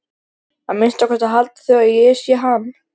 Að minnsta kosti halda þau að ég sé hann.